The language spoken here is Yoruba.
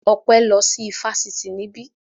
Ọpẹ́ lọ sí ifásitì níbí